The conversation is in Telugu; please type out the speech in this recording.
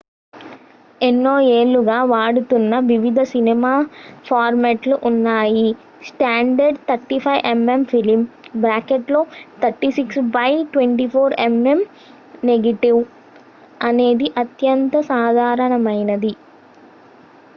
ఎన్నో ఏళ్లుగా వాడుతున్న వివిధ సినిమా ఫార్మాట్లు ఉన్నాయి standard 35 mm film 36 by 24 mm negative అనేది అత్యంత సాధారణమైనది